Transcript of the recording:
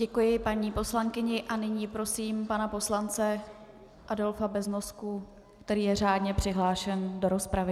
Děkuji paní poslankyni a nyní prosím pana poslance Adolfa Beznosku, který je řádně přihlášen do rozpravy.